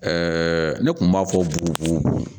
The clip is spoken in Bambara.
ne tun b'a fɔ bugu